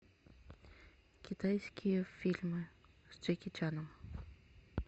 китайские фильмы с джеки чаном